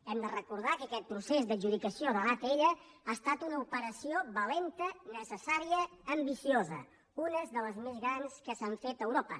hem de recordar que aquest procés d’adjudicació de l’atll ha estat una operació valenta necessària ambiciosa una de les més grans que s’han fet a europa